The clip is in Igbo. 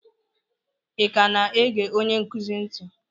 ị ka na-ege onye nkuzi ntị?